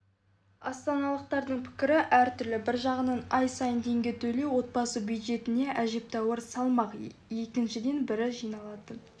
астаналықтардың пікірі әртүрлі бір жағынан ай сайын теңге төлеу отбасы бюджетіне әжептәуір салмақ екіншіден бірі жиналатын